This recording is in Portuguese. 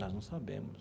Nós não sabemos.